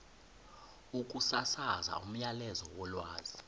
ukusasaza umyalezo wolwazi